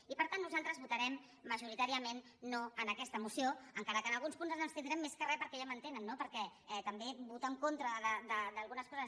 i per tant nosaltres votarem majoritàriament no en aquesta moció encara que en alguns punts ens abstindrem més que re perquè ja m’entenen no també votar en contra d’algunes coses